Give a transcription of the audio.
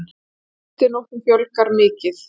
Gistinóttum fjölgar mikið